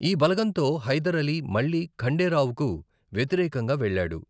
ఈ బలగంతో హైదర్ అలీ మళ్లీ ఖండే రావుకు వ్యతిరేకంగా వెళ్ళాడు.